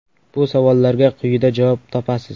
Bu savollarga quyida javob topasiz.